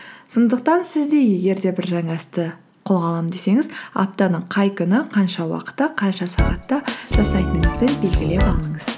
сондықтан сіз де егер де бір жаңа істі қолға аламын десеңіз аптаның қай күні қанша уақытта қанша сағатта жасайтыныңызды белгілеп алыңыз